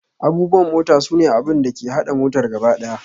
Abubuwan mota sune abin da ke haɗa motar gaba ɗaya.